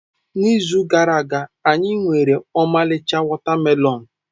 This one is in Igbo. N'izu gara aga, anyị nwere ọmarịcha watermelons.